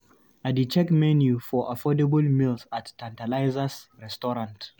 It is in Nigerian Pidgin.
I dey check menu for affordable meals at Tantalizers restaurant.